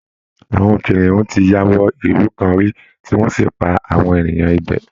Àwọn kìnìún ti ya wọ ìlú kan rí tí wọ́n sì pa àwọn èèyàn ibẹ̀